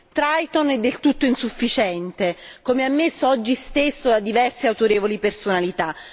Triton è del tutto insufficiente, come ammesso oggi stesso da diverse autorevoli personalità.